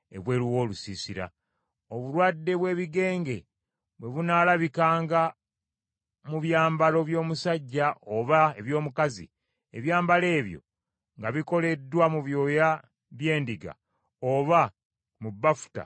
“Obulwadde bw’ebigenge bwe bunaalabikanga mu byambalo by’omusajja oba eby’omukazi, ebyambalo ebyo nga bikoleddwa mu byoya by’endiga oba mu bafuta oba maliba,